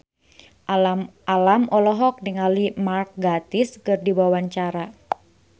Alam olohok ningali Mark Gatiss keur diwawancara